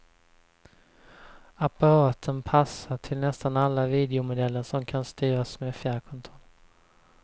Apparaten passar till nästan alla videomodeller som kan styras med fjärrkontroll.